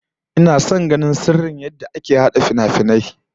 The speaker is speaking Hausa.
Ina son ganin sirrin yadda aka hada finafinai